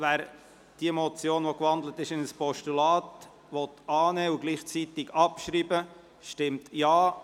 Wer diese Motion, die in ein Postulat gewandelt ist, annehmen und gleichzeitig abschreiben will, stimmt Ja.